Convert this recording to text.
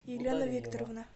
елена викторовна